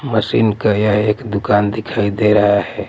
Machine का यह एक दुकान दिखाई दे रहा हैं।